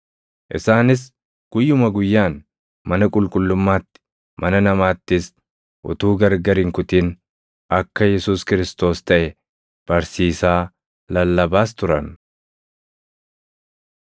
Isaanis guyyuma guyyaan mana qulqullummaatti, mana namaattis utuu gargar hin kutin akka Yesuus Kiristoos + 5:42 yookaan Masiihii taʼe barsiisaa, lallabaas turan.